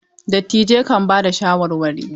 Dattijai kan ba da shawarwari.